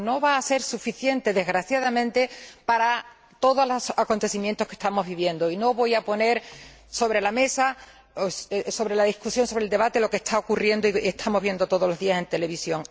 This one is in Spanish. Pero no va a ser suficiente, desgraciadamente, para todos los acontecimientos que estamos viviendo. Y no voy a poner sobre la mesa, en este debate, lo que está ocurriendo y estamos viendo todos los días en televisión.